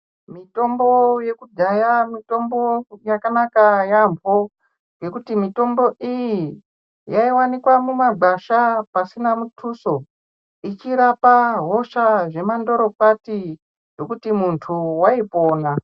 Mitombo yekudhaya mutombo yakanaka yaampo ngekuti mitombo iyi yowanikwa mumagwasha pasina mutuso ichirapa hosha zvemandoro kwati zvekuti muntu waipona.